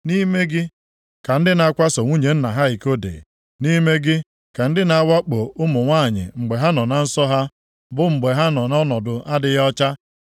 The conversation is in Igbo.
Nʼime gị ka ndị na-akwaso nwunye nna ha iko dị, nʼime gị ka ndị na-awakpo ụmụ nwanyị mgbe ha nọ na nsọ ha, bụ mgbe ha nọ nʼọnọdụ adịghị ọcha.